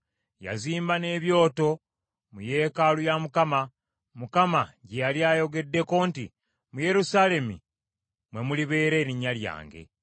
Yazimba n’ebyoto mu yeekaalu ya Mukama , Mukama gye yali ayogeddeko nti, “Mu Yerusaalemi mwe mulibeera Erinnya lyange.”